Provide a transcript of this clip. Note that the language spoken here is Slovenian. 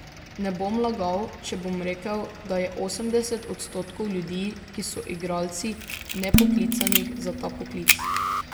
Ne bom lagal, če bom rekel, da je osemdeset odstotkov ljudi, ki so igralci, nepoklicanih za ta poklic.